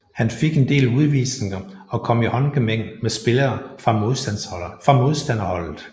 Han fik en del udvisninger og kom i håndgemæng med spillere fra modstanderholdet